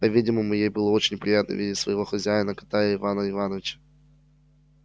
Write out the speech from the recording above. по-видимому ей было очень приятно видеть своего хозяина кота и ивана ивановича